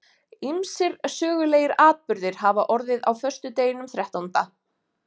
ýmsir sögulegir atburðir hafa orðið á föstudeginum þrettánda